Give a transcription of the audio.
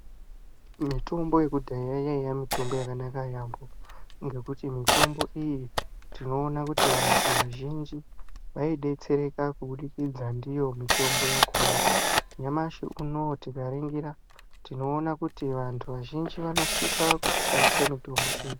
Mitombo yakudhaya yaiva mitombo yakanaka yaamho. Ngekuti mitombo iyi tinoona kuti vantu vazhinji vaidetsereka kubudikidza ndiyo mitombo yakona. Nyamashi unouyu tikaringira tinoona kuti vantu vazhinji vanosisa kushandisa mitombo iyi.